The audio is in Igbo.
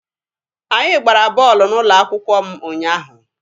Anyị gbara bọọlụ n'ụlọ akwụkwọ m ụnyaahụ.